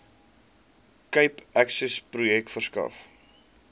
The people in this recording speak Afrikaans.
cape accessprojek verskaf